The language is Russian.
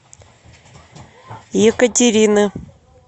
екатерины